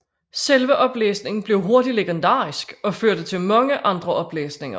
Selve oplæsningen blev hurtigt legendarisk og førte til mange andre oplæsninger